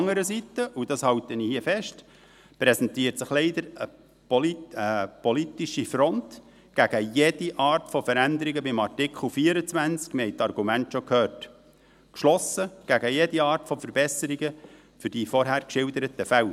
Andererseits – und dies halte ich hier fest – präsentiert sich leider eine politische Front gegen jede Art von Veränderungen beim Artikel 24 – wir haben die Argumente schon gehört –, geschlossen gegen jede Art von Verbesserungen für die vorhin geschilderten Fälle.